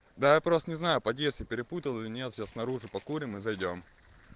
да я просто не знаю подъезд я перепутал или нет сейчас снаружи покурим и зайдём